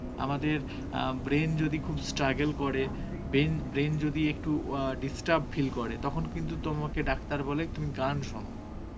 আমাদের অ্যাঁ brain যদি খুব struggle করে বেন~ brain যদি একটু অ্যাঁ disturb feel করে তখন কিন্তু তোমাকে ডাক্তার বলে তুমি গান শোনো